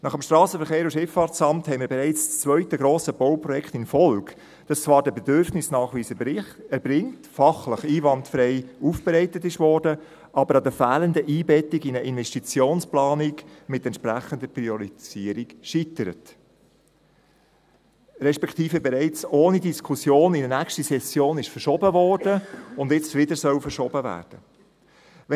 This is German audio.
Nach dem SVSA haben wir bereits das zweite grosse Bauprojekt in Folge, welches zwar den Bedürfnisnachweis erbringt, fachlich einwandfrei aufbereitet wurde, aber an der fehlenden Einbettung in eine Investitionsplanung mit entsprechender Priorisierung scheitert, respektive bereits ohne Diskussion in eine nächste Session verschoben wurde und nun wieder verschoben werden soll.